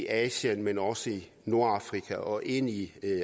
asien men også i nordafrika og ind i